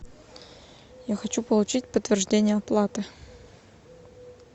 я хочу получить подтверждение оплаты